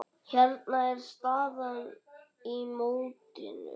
Hérna er staðan í mótinu.